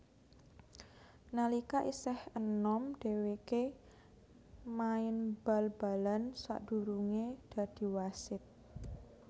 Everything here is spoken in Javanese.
Nalika isih enom dhèwèké main bal balan sadurungé dadi wasit